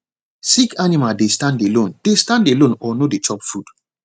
sick animal dey stand alone dey stand alone or no dey chop food